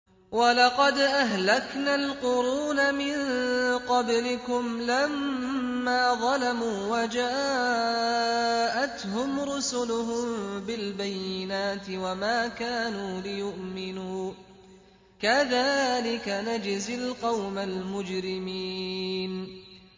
وَلَقَدْ أَهْلَكْنَا الْقُرُونَ مِن قَبْلِكُمْ لَمَّا ظَلَمُوا ۙ وَجَاءَتْهُمْ رُسُلُهُم بِالْبَيِّنَاتِ وَمَا كَانُوا لِيُؤْمِنُوا ۚ كَذَٰلِكَ نَجْزِي الْقَوْمَ الْمُجْرِمِينَ